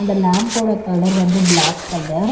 இந்த லாம்ப் ஓட கலர் வந்து பிளாக் கலர் .